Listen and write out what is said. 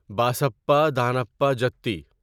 بسپا دانپہ جٹی